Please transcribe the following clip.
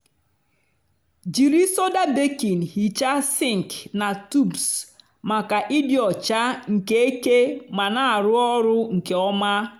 jiri soda baking hichaa sink na tubs maka ịdị ọcha nke eke ma na-arụ ọrụ nke ọma.